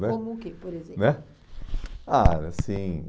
né Como o que, por exemplo? né, ah, era assim...